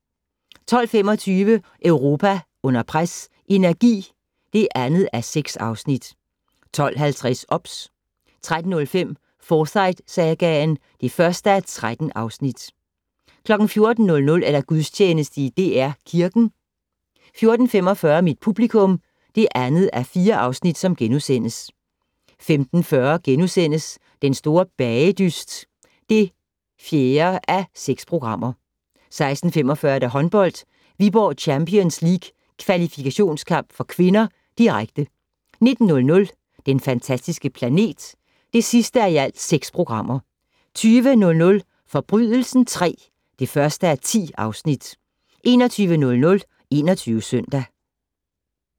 12:25: Europa under pres: Energi (2:6) 12:50: OBS 13:05: Forsyte-sagaen (1:13) 14:00: Gudstjeneste i DR Kirken 14:45: Mit publikum (2:4)* 15:40: Den store bagedyst (4:6)* 16:45: Håndbold: Viborg Champions League kvalifikationskamp (k), direkte 19:00: Den fantastiske planet (6:6) 20:00: Forbrydelsen III (1:10) 21:00: 21 Søndag